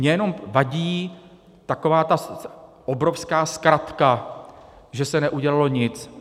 Mně jenom vadí taková ta obrovská zkratka, že se neudělalo nic.